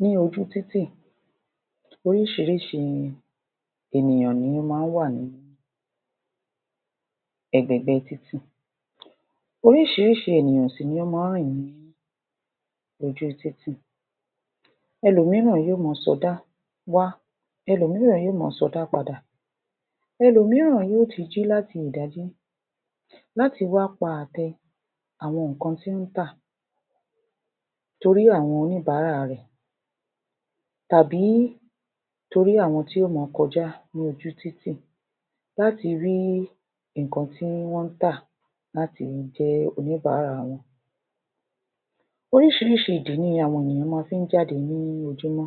Ní ojúu títì, oríṣiríṣi ènìyàn ní ó máa ń wà ní ẹ̀gbẹ̀ẹ̀gbẹ́ títì. Oríṣiríṣi ènìyàn sì ni ó máa ń rìn ní ojúu títì, ẹlòmíràn yóò máa sọdá wá, ẹlòmíràn yóò máa sọdá padà. Ẹlòmíràn yóò ti jí láti ìdájí, láti wá pa àtẹ àwọn nǹkan tí ó ń tà, torí àwọn oníbàárà rẹ̀ tàbí torí àwọn tí yóò máa kọjá ní ojú-títì, láti rí nǹkan tí wọ́n ń tà, láti jẹ́ oníbàárà wọn. Oríṣiríṣi ìdí ni àwọn èèyàn mọ fí ń jáde ní ojúmọ́.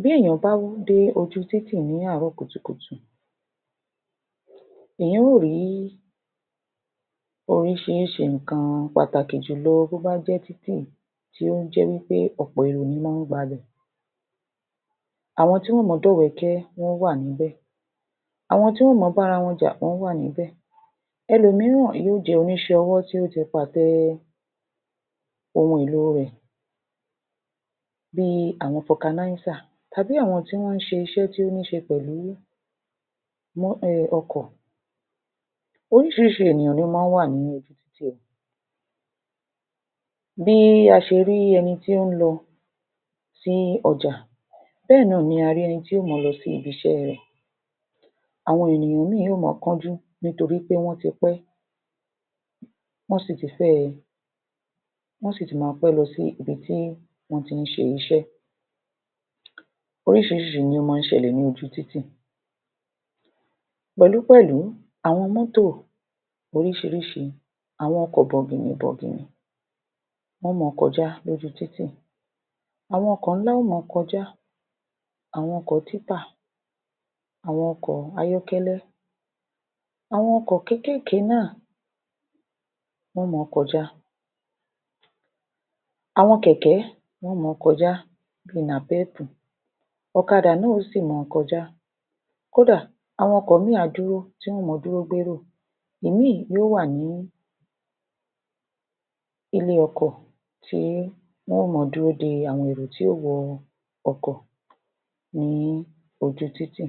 Bí èèyàn bá dé ojúu títì ní àárọ̀ kùtùkùtù, èèyàn óò rí oríṣiríṣi nǹkan, pàtàkì jùlọ bó bá jẹ́ títì tí ó jẹ́ wí pé ọ̀pọ̀ èrò ni ó mọ́ ń gbabẹ̀. Àwọn tí wọn óò mọ jẹ́ ọ̀bẹ́kẹ́ wọ́n wà níbẹ̀. Àwọn tí wọ́n mọ bára wọn jà, wọn wà níbẹ̀. Ẹlòmíràn yóò jẹ́ oníṣẹ́ ọwọ́ tí ó ti pàtẹ ohun èlò rẹ̀, bí i àwọn fọkanáísà, tàbí àwọn tí wọ́n ń ṣiṣẹ́ tó ní í ṣe pẹ̀lú mọ́ um ọkọ̀. Oríṣiríṣi ènìyàn ní ó máa ń wà ní ojúu títì, bí a ṣe rí ẹni tí ó ń lọ, sí ọjà bẹ́ẹ̀ náà ni a rí ẹni tí óò mọ lọsí ibi-iṣẹ́ rẹ̀. Àwọn ènìyàn míì lè mọ kánjú nítorí pé wọ́n ti pẹ́, wọ́n sì ti máa pẹ́ lọ sí ibi tí wọ́n tí ń ṣe iṣẹ́. Oŕṣiríṣi ní ó máa ń ṣẹlẹ̀ ní ojúu títì, pẹ̀lú pẹ̀lú, àwọn mọ́tò lóríṣiríṣi, àwọn ọkọ̀ bọ̀gìnì bọ̀gìnì wọ́n óò mọ kọjá lojúu títì. Àwọn ọkọ̀ ńlá óò mọ kọjá, àwọn ọkọ̀ títà, àwọn ọkọ̀ ayọ́kẹ́lẹ́, àwọn ọkọ̀ kéékèèké náà, wọ́n óò mọ kọjá. Àwọn kẹ̀kẹ́, wọ́n óò mọ kọjá; bí i nàpẹ́ẹ̀pù, ọ̀kadà náà óò sì mọ kọjá, Kódà àwọn ọkọ̀ míì, tí wọ́n óò mọ dúró gbérò. Ìmíì yóó wà ní ilé-ọkọ̀ tí wọ́n óò mọ dúró de àwọn èrò tí yóò wọ ọkọ̀ ní ojúu títì.